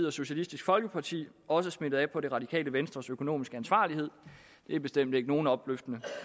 og socialistisk folkeparti også smittet af på det radikale venstres økonomiske ansvarlighed det er bestemt ikke nogen opløftende